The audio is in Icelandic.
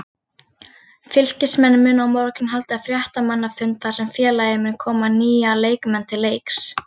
Fylkismenn munu á morgun halda fréttamannafund þar sem félagið mun kynna nýja leikmenn til leiks.